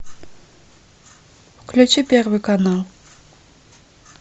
включи первый канал